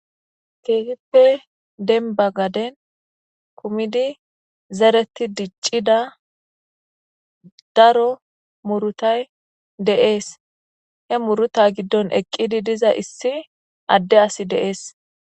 Keehippe denba gaden kumidi zereti diccida daro murutay deees he muruta giddon eqqidi diza issi adde asi dee'es.